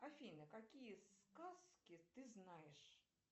афина какие сказки ты знаешь